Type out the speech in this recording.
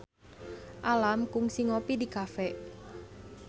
Alam kungsi ngopi di cafe